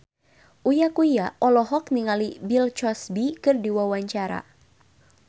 Uya Kuya olohok ningali Bill Cosby keur diwawancara